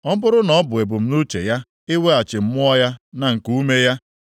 Ọ bụrụ na ọ bụ ebumnuche ya iweghachi mmụọ ya na nkuume ya,